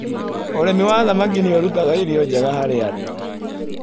ũrĩmi wa thamaki nĩũrutaga irio njega harĩ andũ.